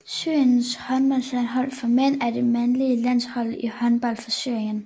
Syriens håndboldlandshold for mænd er det mandlige landshold i håndbold for Syrien